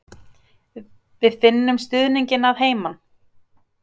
Við finnum stuðninginn að heiman.